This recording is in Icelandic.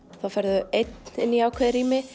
þá ferðu einn í ákveðið rými